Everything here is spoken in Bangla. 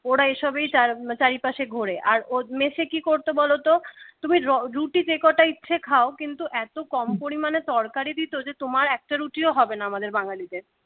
ওরা এসবেই চারিপাশে ঘোরে আর মেসে কি করতো বলতো তুমি রুটি যে কটা ইচ্ছা খাও কিন্তু এত কম পরিমাণে তরকারি দিত যে তোমার একটা রুটিও হবে না আমাদের বাঙ্গালীদের